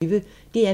DR P1